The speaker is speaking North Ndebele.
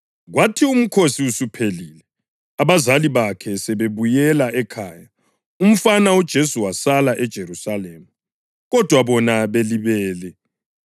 Kwathi uMkhosi usuphelile, abazali bakhe sebebuyela ekhaya, umfana uJesu wasala eJerusalema, kodwa bona belibele.